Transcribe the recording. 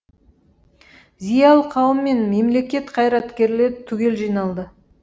зиялы қауым мен мемлекет қайраткерлері түгел жиналды